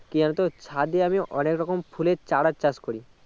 কি জানতো ছাদে আমি অনেক রকম ফুলের চারার চাষ করি